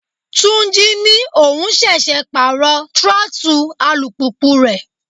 Túnjí ní òun ṣẹ̀ṣẹ̀ pàrọ throttle alùpùpù rẹ̀.